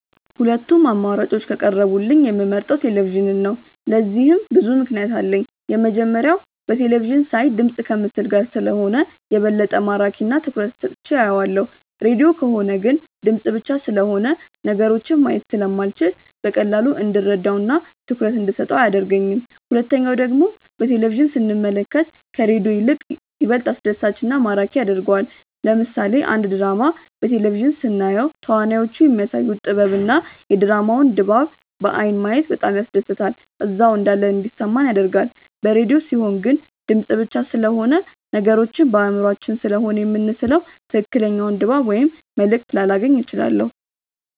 ሁለቱም አማራጮች ከቀረቡልኝ የምመርጠው ቴሌቪዥንን ነው። ለዚህም ብዙ ምክንያት አለኝ። የመጀመሪያው በቴለቪዥን ሳይ ድምፅ ከምስል ጋር ስለሆነ የበለጠ ማራኪ እና ትኩረት ሰጥቼው አየዋለሁ። ሬድዮ ከሆነ ግን ድምፅ ብቻ ስለሆነ ነገሮችን ማየት ስለማልችል በቀላሉ እንድረዳው እና ትኩረት እንደሰጠው አያደርገኝም። ሁለተኛው ደግሞ በቴሌቪዥን ስንመለከት ከሬዲዮ ይልቅ ይበልጥ አስደሳች እና ማራኪ ያደርገዋል። ለምሳሌ አንድ ድራማ በቴሌቪዥን ስናየው ተዋናዮቹ የሚያሳዩት ጥበብ እና የድራማውን ድባብ በአይን ማየት በጣም ያስደስታል እዛው እንዳለን እንዲሰማን ያደርጋል። በሬድዮ ሲሆን ግን ድምፅ ብቻ ስለሆነ ነገሮችን በአእምሯችን ስሴሆነ የምንስለው ትክክለኛውን ድባብ ወይም መልእክት ላላገኝ እችላለሁ።